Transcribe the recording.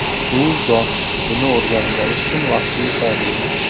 U yosh, buni o‘rganib olish uchun vaqti yetarli.